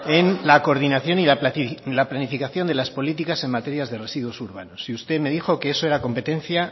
en la coordinación y la planificación de las políticas en materias de residuos urbanos y usted me dijo que eso era competencia